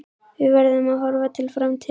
Við verðum að horfa til framtíðar.